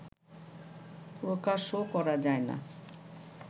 প্রকাশও করা যায় না